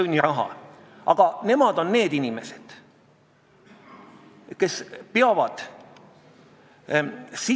" Aga mis puutub teiste maade kogemusse – ma natuke tean Inglismaa kogemust, natuke Saksamaa oma –, siis põhiline on ikkagi seesama positiivne lähenemine, positiivne lõimimine, keelekursused, tugi.